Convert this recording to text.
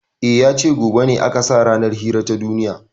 E, ya ce gobe ne aka sa ranar hira ta duniya.